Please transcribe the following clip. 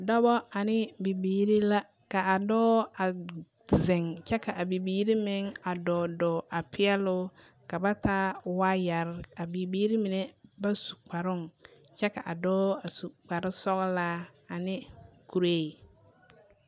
Daba ane bibiiri la, ka a dɔɔ a zeŋ kyɛ ka a bibiiri meŋ a dɔɔ dɔɔ a peɛle o. Ka ba taa waayarre. A biiri mine ba su kparoŋ kyɛ ka a dɔɔ a su kpar sɔglaa ane kuree.